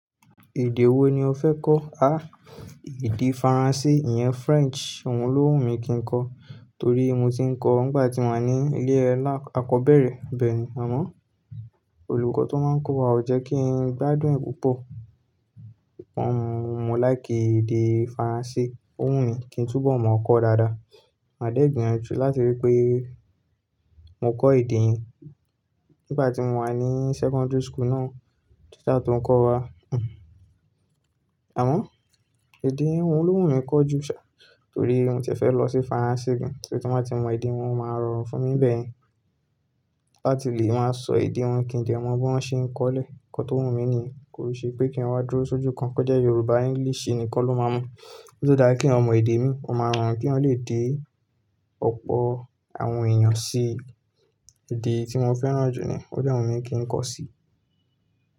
Èdè wo ni o fẹ́ kọ́? À, èdè Faransé, ìyẹn French. Ohun ló wù mí kí n kọ. Torí mo ti ń kọ ọ́ nígbà tí mo wà ní ilé alá akọ́bẹ̀rẹ̀. Bẹ́ẹ̀ ni, àmọ́ olùkọ́ tó máa n kọ́ wa ò jẹ́ kí n gbádùn ẹ̀ púpọ̀. Wọ́n mọ̀, mo láì kí èdè Faransé. Ó wù mí kí n tún bọ̀ mọ̀ ọ́ kọ dáadáa. Màá dẹ́ gbeyinju láti rí i pé mo kọ́ èdè yẹn nígbà tí mo wà ní secondary school náà. Teacher to ń kọ́ wa. Àmọ́ èdè ohun ló wù mí kí n kọ́ jù sá. Torí nǹjẹ́ fẹ́ lọ sí Faransé gan. Torí tí wọ́n bá ti mọ èdè wọn, wọ́n máa rọrùn fún mi bẹ̀yan. Láti lè máa sọ èdè wọn kí n dẹ̀ mọ bí wọ́n ṣe ń kọ́lẹ̀. Ǹkan tó wù mí nìyẹn kò ṣe pé kí n wá dúró sójú kan, kó jẹ́ Yorùbá, English nì kan loma mọ̀. Ó dára kí èyàn mọ èdè mi, ó máa rọrùn kí èyàn lè dé ọ̀pọ̀ àwọn èèyàn sí èdè tí mo fẹ́ràn jù ní, ó dẹ̀ wù mí kí n kọ sí.